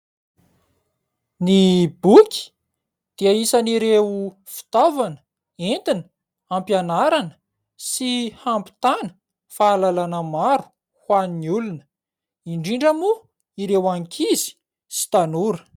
Ny boky dia isany ireo fitaovana entina hampianarana sy hampitana fahalalana maro ho an'ny olona indrindra moa ireo ankizy sy tanora.